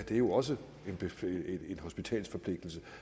jo også en hospitalsforpligtelse